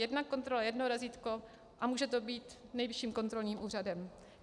Jedna kontrola, jedno razítko a může to být Nejvyšším kontrolním úřadem.